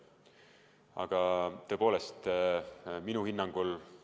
Aga tõepoolest, minu hinnangul oli nii.